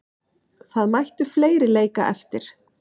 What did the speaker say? Það mættu fleiri leika eftir.